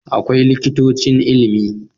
Akwai Likitocin Ilimi